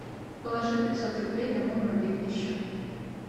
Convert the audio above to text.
положи пятьсот рублей на мой мобильный счет